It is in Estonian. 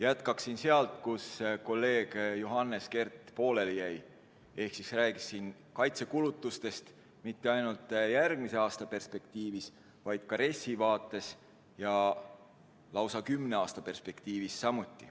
Jätkan sealt, kus kolleeg Johannes Kert pooleli jäi, ehk räägin kaitsekulutustest ja mitte ainult järgmise aasta perspektiivis, vaid ka RES-i vaates ja lausa kümne aasta perspektiivis.